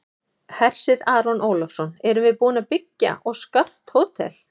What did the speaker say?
Hersir Aron Ólafsson: Erum við búin að byggja og skart hótel?